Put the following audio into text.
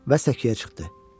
Və səkiyə çıxdı.